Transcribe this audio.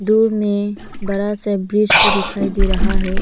दूर में बड़ा सा एक ब्रिज भी दिखाई दे रहा है।